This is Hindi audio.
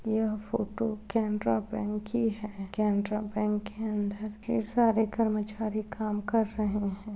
यह फोटो केनरा बैंक की है केनरा बैंक के अंदर ढेर सारे कर्मचारी काम कर रहे हैं।